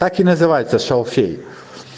как и называется шалфей